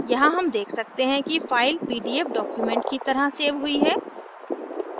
यहाँ हम देख सकते हैं कि file pdf document की तरह सेव हुई है